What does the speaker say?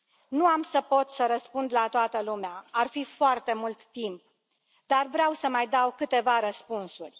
Nu am să pot răspunde la toată lumea, ar fi foarte mult timp, dar vreau să mai dau câteva răspunsuri.